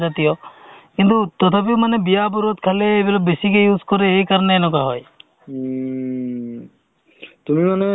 আৰু বহুত মানুহ চিনাকি হয় doctor ৰ পাই ধৰি বিভিন্নধৰণৰ জগাৰ পৰা মানুহ আহে অ meeting য়ে হওক বা কি যিকোনো গোটতে চিনাকি হয়